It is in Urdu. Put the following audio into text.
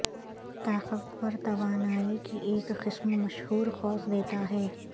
طاقتور توانائی کی ایک قسم مشہور قوس دیتا ہے